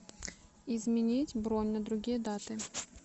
изменить бронь на другие даты